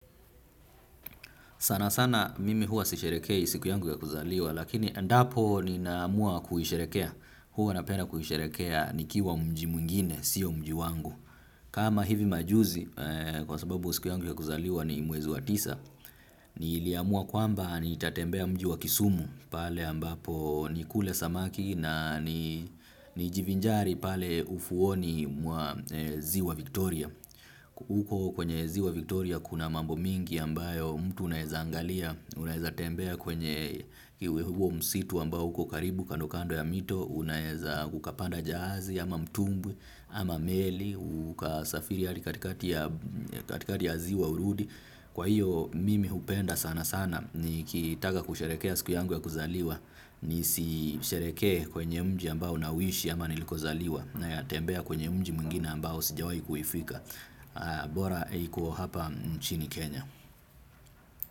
Sana sana mimi huwa sisherehekei siku yangu ya kuzaliwa lakini endapo ninaamua kuisherekea. Huwa napenda kuisherekea nikiwa mji mwingine, sio mji wangu. Kama hivi majuzi kwa sababu siku yangu ya kuzaliwa ni mwezi wa tisa. Niliamua kwamba nitatembea mji wa kisumu pale ambapo nikule samaki na nijivinjari pale ufuoni mwa ziwa Victoria. Huko kwenye ziwa Victoria kuna mambo mingi ambayo mtu unaeza angalia. Unaeza tembea kwenye huo msitu ambao huko karibu kando kando ya mito. Unaeza kukapanda jahazi ama mtumbwi ama meli. Uka safiri hadi katikati ya katikati ya ziwa urudi. Kwa hiyo mimi hupenda sana sana nikitaka kusherehekea siku yangu ya kuzaliwa. Nisisherehekee kwenye mji ambao nauishi ama niliko zaliwa natembea kwenye mji mwingine ambao sijawai kuifika bora iko hapa nchini Kenya.